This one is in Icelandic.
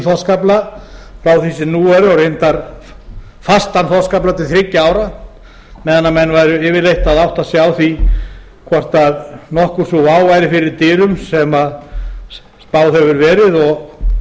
þorskafla frá því sem nú er og reyndar fastan þorskafla til þriggja ára meðan væru yfirleitt að átta sig á því hvort nokkur sú vá væri fyrir dyrum sem spáð hefur verið